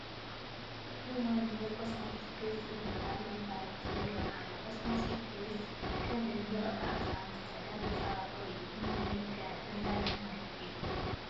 ሁማን ሄይርን ኮስማቲክስን ዝብል መፋለጢ ይርአ ኣሎ፡፡ ኮስሞቲክስ ከም እኒ ቅብኣት ዝኣምሰለ መፀባበቒ እዩ፡፡ ሁማን ሄይር ከ እንታይ ማለት እዩ?